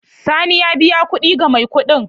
Sani ya biya kuɗi ga mai kuɗin.